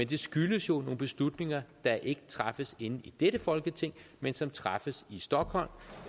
det skyldes jo nogle beslutninger der ikke træffes inde i dette folketing men som træffes i stockholm